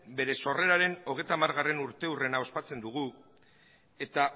bere sorreraren hogeita hamargarrena urteurrena ospatzen dugu eta